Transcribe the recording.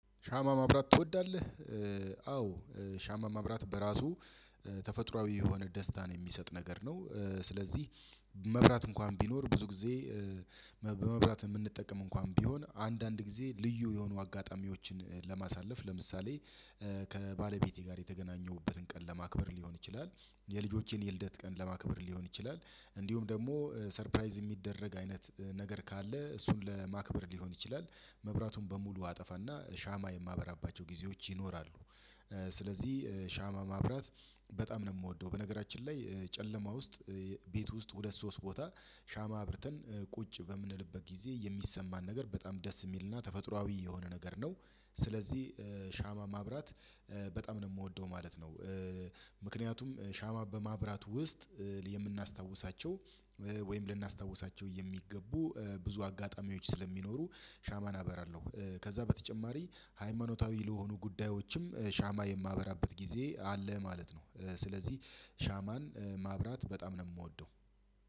ሻማ ማብራት ትወዳለህ? አዎ ሻማ ማብራት በራሱ ተፈጥሮአዊ የሆነ ደስታን የሚሰጥ ነገር ነው። ስለዚህ መብራት እንኳን ቢኖር ብዙ ጊዜ- በመብራት የምንጠቀም እንኳን ቢሆን አንዳንድ ጊዜ ልዩ የሆኑ አጋጣሚዎችን ለማሳለፍ ለምሳሌ:- ከባለቤቴ ጋር የተገናኘሁበትን ቀን ለማክበር ሊሆን ይችላል። የልጆቼን የልደት ቀን ለማክበር ሊሆን ይችላል። እንዲሁም ደግሞ ሰርፕራይዝ የሚደረግ አይነት ነገር ካለ እሱን ለማክበር ሊሆን ይችላል። መብራቱን በሙሉ አጠፋና ሻማ የማበራባቸው ጊዜዎች ይኖራሉ። ስለዚህ ሻማ ማብራት በጣም ነው የምወደው። በነገራችን ላይ ጨለማ ውስጥ ቤት ውስጥ ሁለት ሶስት ቦታ ሻማ አብርተን ቁጭ በምንልበት ጊዜ የሚሰማን ነገር በጣም ደስ የሚልና ተፈጥሮአዊ የሆነ ነገር ነው። ስለዚህ ሻማ ማብራት በጣም ነው የምወደው ማለት ነው። ምክንያቱም ሻማ በማብራት ውስጥ የምናስታውሳቸው- ወይም ልናስታውሳቸው የሚገቡ ብዙ አጋጣሚዎች ስለሚኖሩ ሻማን አበራለሁ። ከዛ በተጨማሪ ሃይማኖታዊ ለሆኑ ጉዳዮችም ሻማ የማበራበት ጊዜ አለ ማለት ነው። ስለዚህ ሻማን ማብራት በጣም ነው የምወደው።